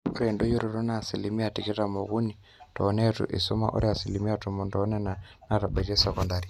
ore endoyioroto naa asilimia tikitam ookuni too neitu eisuma o asilimia tomon toonena naatabaitie sokundari